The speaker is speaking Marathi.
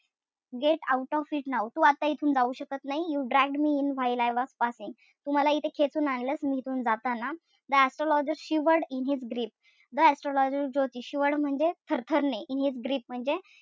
Get out of it now तू आता इथून जाऊ शकत नाही. You dragged me in while I was passing तू मला इथे खेचून आणलंस. मी इथून जाताना. The astrologer shivered in his grip the astrologer ज्योतिषी shivered म्हणजे थरथरणे. In his grip म्हणजे,